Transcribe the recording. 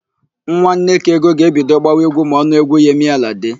Nwa Nnekaego ga-ebido gbawa égwú ma ọ nụ égwú Yemi Alade.